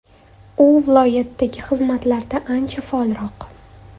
U viloyatdagi xizmatlarda ancha faolroq.